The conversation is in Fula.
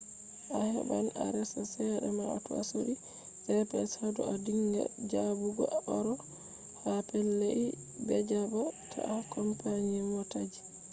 a heban a resa cede mah tou a sodi gps hadou a dinga jabugo aro ha pellei bejaba tah ha company motaji